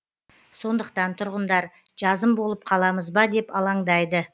сондықтан тұрғындар жазым болып қаламыз ба деп алаңдайды